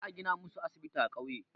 Za a gina musu asibiti a ƙauye.